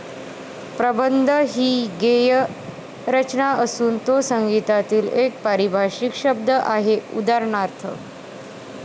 प्रबंध हि गेय रचना असून तो संगीतातील एका पारिभाषिक शब्द आहे. उदाहरणार्थ,